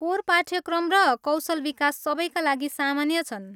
Core पाठ्यक्रम र कौशल विकास सबैका लागि सामान्य छन्।